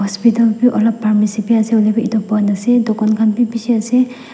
hospital bhi alop pharmacy bhi ase hoilebi etu bon ase dukhan khan bhi beshi ase.